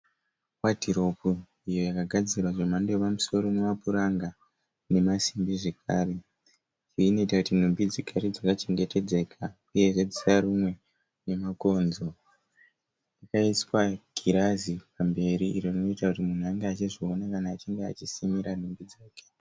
Wadhiropu iyo yakagadzirwa zvemhando yepamusoro nemapuranga nemasimbi zvakare uye inoita kuti nhumbi dzigare dzakachengeteka uyezve dzisarumwe nemakonzo. Rakaiswa girazi pamberi kuti munhu ange achizviona kana achinge achisimira nhumbi dzake.